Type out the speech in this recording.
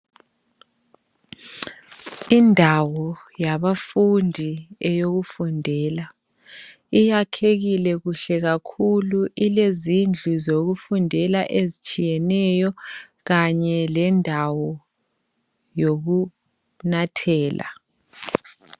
Indawo yabafundi eyokufundela iyakhekile kuhle kakhulu ilezindlu zokufundela ezitshiyeneyo kanye lendawo yokunathela.